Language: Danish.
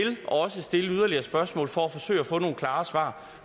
også stille yderligere spørgsmål for at forsøge at få nogle klare svar